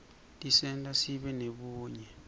tisenta sibe nebunye